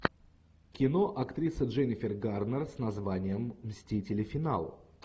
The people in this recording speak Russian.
кино актриса дженнифер гарнер с названием мстители финал